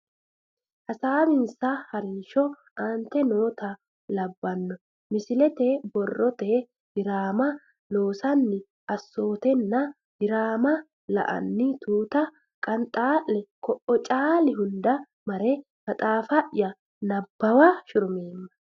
Hasaawinsa ha rinsho aante noota labbanno Misile Ba rete diraama loossanni assootanna diraama la anni tuuta Qanxaa le Koo o caali hunda mare maxaafa ya nabbawa shurumeemma.